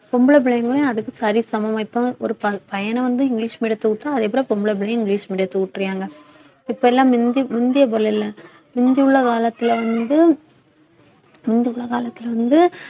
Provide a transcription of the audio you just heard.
பொம்பளை பிள்ளைங்களையும் அதுக்கு சரிசமமா இப்ப~ ஒரு ப~ பையன வந்து இங்கிலிஷ் medium த்துல விட்டா அதே போல பொம்பளை பிள்ளையும் இங்கிலிஷ் medium த்துல உட்றாய்ங்க இப்ப எல்லாம் முந்தி~ முந்திய போல் இல்ல முந்தி உள்ள காலத்துல வந்து முந்தி உள்ள காலத்துல வந்து